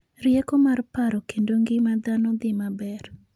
Rieko mar Paro kendo ngima dhano dhi maber.